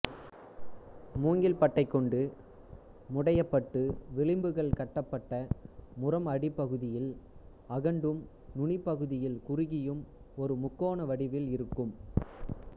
மூங்கில் பட்டைகொண்டு முடையப்பட்டு விளிம்புகள் கட்டப்பட்ட முறம் அடிப்பகுதியில் அகண்டும் நுனிப்பகுதியில் குறுகியும் ஒரு முக்கோண வடிவில் இருக்கும்